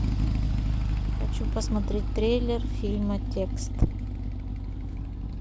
хочу посмотреть трейлер фильма текст